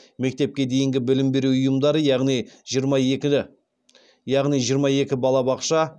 мектепке дейінгі білім беру ұйымдары янғи жиырма екі балабақша